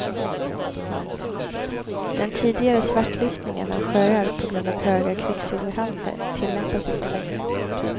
Den tidigare svartlistningen av sjöar på grund av höga kvicksilverhalter tillämpas inte längre.